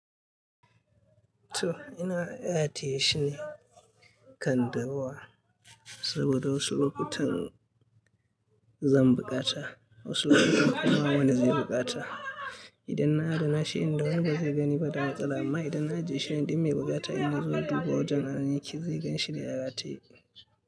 To ina rataye shine kan durowa saboda wasu lokutan zan bukata, wasu lokutan kuma wani zai bukata. Idanna rina shi inda wani bazai gani ba, da matsala amma idanna ajeshi dummai bukata innazoya duba wajen anan yake, zai ganshi ga rataye.